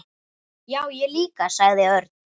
Já, ég líka sagði Örn.